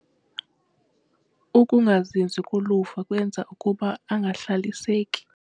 Ukungazinzi koluvo kwenza ukuba angahlaliseki.